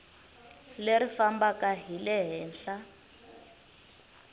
leri fambaka hi le henhla